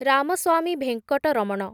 Ramaswamy Venkataraman